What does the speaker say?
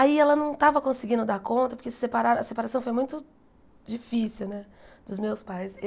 Aí ela não estava conseguindo dar conta, porque separaram a separação foi muito difícil né dos meus pais.